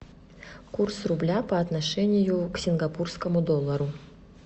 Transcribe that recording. курс рубля по отношению к сингапурскому доллару